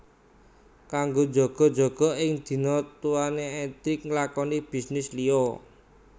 Kanggo jaga jaga ing dina tuané Edric nglakoni bisnis liya